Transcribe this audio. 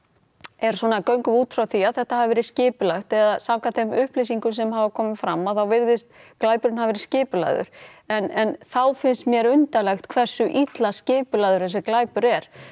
er svona göngum við út frá því að þetta hafi verið skipulagt eða samkvæmt þeim upplýsingum sem hafa komið fram þá virðist glæpurinn hafa verið skipulagður en þá finnst mér undarlegt hversu illa skipulagður þessi glæpur er